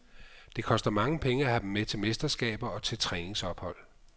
Det koster mange penge at have dem med til mesterskaber og til træningsophold.